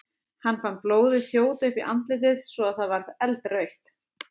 Hann fann blóðið þjóta upp í andlitið svo að það varð eldrautt.